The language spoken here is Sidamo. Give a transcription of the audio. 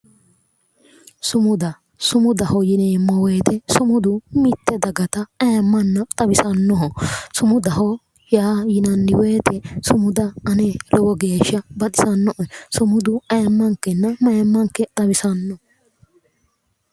sumuda sumudaho yineemmowoyite sumudu mitte dagata ayimma xawisannoho sumudaho yinanni woyite sumuda ane lowo geeshsha baxisannoe sumudu ayimmankenna mayimmanke xawisanno.